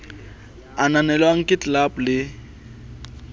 a ananelwang ke ldab le